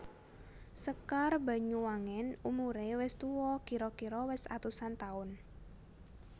Sekar Banyuwangen umuré wis tuwa kira kira wis atusan taun